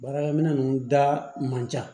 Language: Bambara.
Baarakɛ minɛ ninnu da man ca